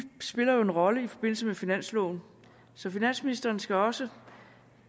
spiller jo en rolle i forbindelse med finansloven så finansministeren skal også